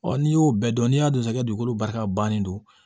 Ɔ n'i y'o bɛɛ dɔn n'i y'a don sisan i ka dugukolo barika bannen don